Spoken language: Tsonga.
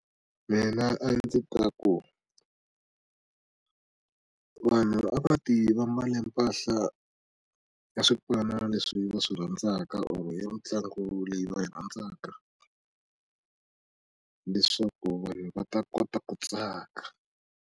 Mina a ndzi ta ku vanhu a va ti va mbale mpahla ya swipano leswi va swi rhandzaka or ya mitlangu leyi va yi rhandzaka leswaku vanhu va ta kota ku tsaka.